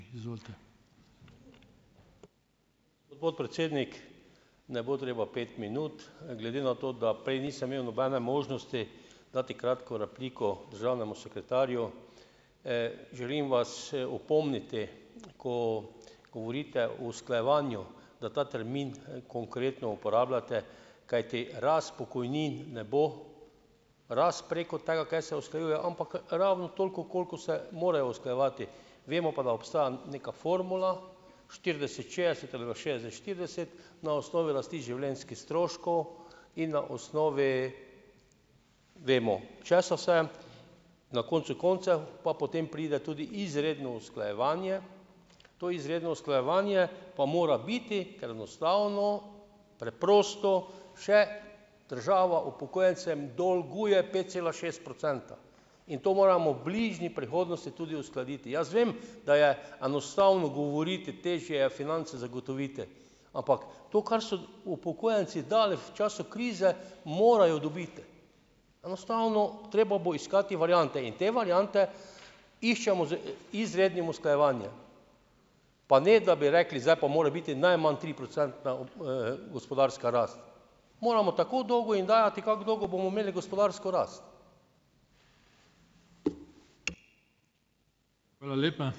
Podpredsednik, ne bo treba pet minut. Glede na to, da prej nisem imel nobene možnosti dati kratko repliko državnemu sekretarju, želim vas, opomniti, ko govorite o usklajevanju, da ta termin, konkretno uporabljate, kajti rast pokojnin ne bo preko tega, kaj se usklajuje, ampak ravno toliko, kolikor se morajo usklajevati. Vemo pa, da obstaja neka formula, štirideset, šestdeset ali šestdeset, štirideset na osnovi rasti življenjskih stroškov in na osnovi vemo, česa vse. Na koncu koncev pa potem pride tudi izredno usklajevanje. To izredno usklajevanje pa mora biti, kar enostavno, preprosto še država upokojencem dolguje pet cela šest procenta, in to moramo v bližje prihodnosti tudi uskladiti. Jaz vem, da je enostavno govoriti, težje je finance zagotoviti, ampak to, kar so upokojenci dali v času krize, morajo dobiti. Enostavno treba bo iskati variante in te variante iščemo z, izrednim usklajevanje. Pa ne, da bi rekli: "Zdaj pa mora biti najmanj triprocentna gospodarska rast." Moramo tako dolgo jim dajati, kak dolgo bomo imeli gospodarsko rast.